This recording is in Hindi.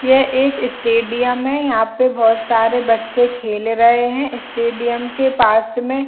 यह एक स्टेडियम है यहाँ पे बहुत सारे बच्चे खेल रहै है स्टेडियम के पास में --